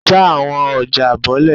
ja awọn ọja bolẹ!